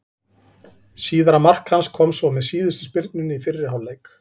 Síðara mark hans kom svo með síðustu spyrnunni í fyrri hálfleik.